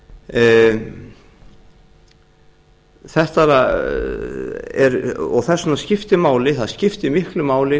að synda í kringum landið þess vegna skiptir máli það skiptir miklu máli